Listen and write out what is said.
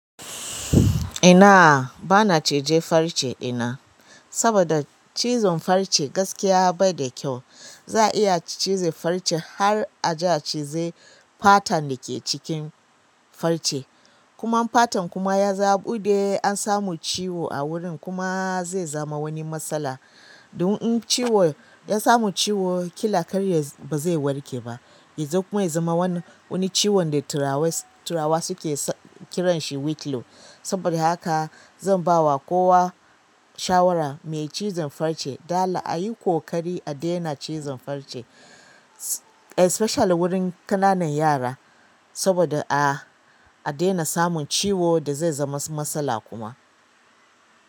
Ina bana cije farce ina, saboda cizon farce gaskiya bai da kyau. Za a iya cije farce har a ja cize fatan da ke cikin farce. Kuma in fatan kuma ya zo ya ɓude, an samu ciwo a wurin kuma zai zama wani matsala. Dun in ciwo, ya samu ciwo ƙila karya ba zai warke ba. Yazo kuma ya zama wani, wani ciwon da turawa suke kiranshi wicklow. Saboda haka zan ba wa kowa shawara mai cizon farce, dala a yi ƙoƙari a daina cizon farce, especially wurin ƙananan yara. Saboda a, a daina samun ciwo da zai zama matsala kuma.